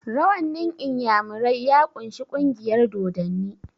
rawannin inyamirai ya kunshi kungiyar dodanni